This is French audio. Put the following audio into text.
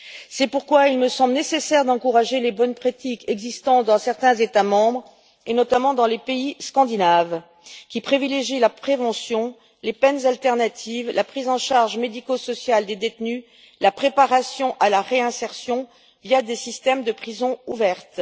C'est pourquoi il me semble nécessaire d'encourager les bonnes pratiques existantes dans certains États membres, et notamment dans les pays scandinaves, qui privilégient la prévention, les peines alternatives, la prise en charge médico sociale des détenus et la préparation à la réinsertion via des systèmes de prisons ouvertes.